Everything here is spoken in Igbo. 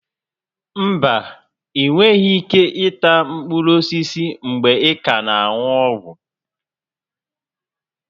Mba, ịnweghị ike ịta mkpụrụ osisi mgbe ị ka na-aṅụ ọgwụ